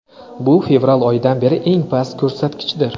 Bu fevral oyidan beri eng past ko‘rsatkichdir.